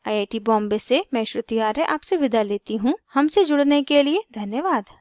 I I T Bombay से मैं श्रुति आर्य आपसे विदा लेती हूँ हमसे जुड़ने के लिए धन्यवाद